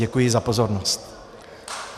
Děkuji za pozornost.